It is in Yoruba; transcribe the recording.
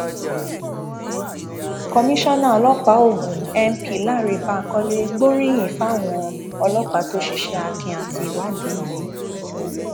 komisanna ọlọpàá ogun np lánrẹ bankole gbóríyìn fáwọn ọlọpàá tó ṣiṣẹ akin àti ìwádìí yìí